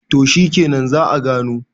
to shikenan za `a gano